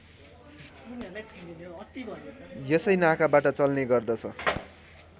यसै नाकाबाट चल्ने गर्दछ